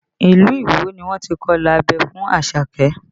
Ilu Iwo ni wọ́n ti kọ ilà abẹ́ fún Àṣàkẹ́